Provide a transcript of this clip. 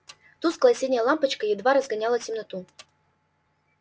тусклая синяя лампочка едва разгоняла темноту